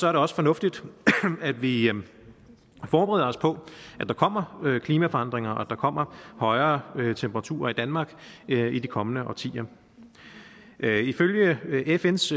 er det også fornuftigt at vi at vi forbereder os på at der kommer klimaforandringer og at der kommer højere højere temperaturer i danmark i de kommende årtier ifølge fns